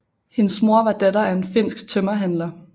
Hendes mor var datter af en finsk tømmerhandler